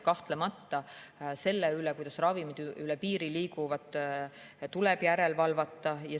Kahtlemata tuleb selle järele, kuidas ravimid üle piiri liiguvad, valvata.